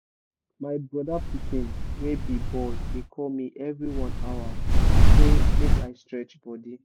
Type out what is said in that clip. my brother pikin wey be boy dey call me every one hour say make i stretch body